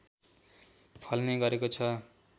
फल्ने गरेको छ